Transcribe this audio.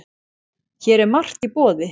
Hér er margt í boði.